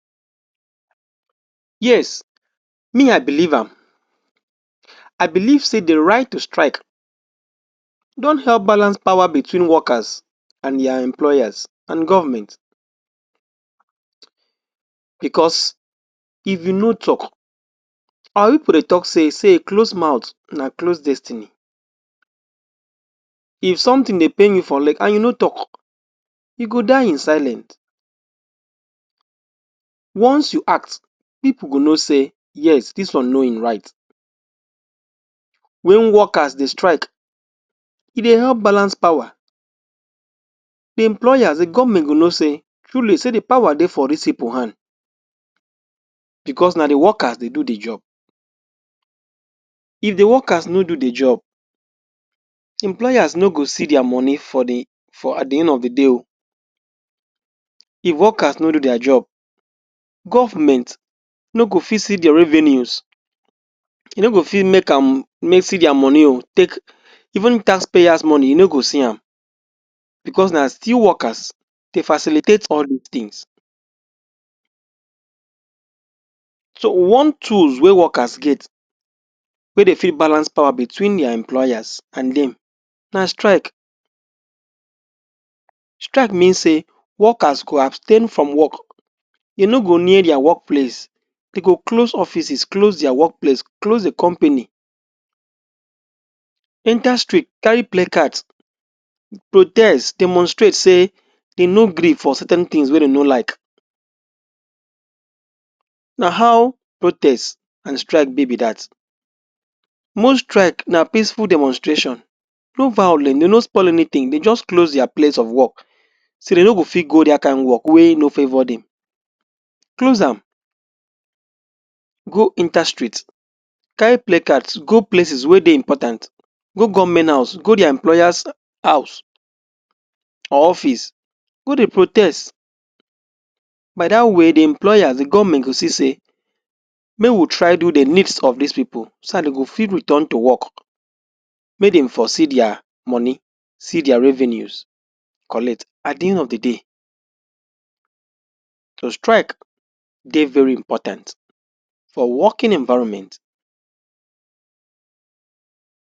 Yes me I believe am. I believe say di right to strike don help balance power between workers and dia employers, and, govment. Bicos, if you no tok, our pipo dey tok say a closed mouth na closed destiny. If sometin dey pain you for leg and you no tok, you go die in silence. Once you ask, pipo go know say yes dis one know im right. Wen workers dey strike, e dey help balance power, di employers, di govment go know say truly say di power dey for dis pipo hand, bicos na di workers dey do di job. If di workers no do di job employers no go see dia money at di end of di day o. If workers no do dia job, govment no go fit see di revenues, e no go fit make am see dia money o take, even tax payers money you no to see am bicos na still workers dey facilitate all dis tins. So, one tools wey workers get, wey dem fit balance power between dia employers and dem, na strike. Strike mean say, workers go abstain lfrom wok, dem no go near dia work place. Dem go close offices, close dia wok place, close di company, enta Street carry placard protest, demonstrate say dem no gree for certain tins wey dem no like, na how protest and strike bi be dat. Most strike na peaceful demonstration, no vawulens dem no spoil anytin dem just close dia place of work say dem no go fit go dat kain wok wey no favor dem. Close am go enta street carry placards go places wey dey important, go govment house, go dia employers house or office go dey protest. By dat way, di govment, di employer go see say make we try do di needs of dis pipo so dat dem go fit return to wok make dem for see dia money, see dia revenues collect at di end of di day. So, strike dey very important for working environment.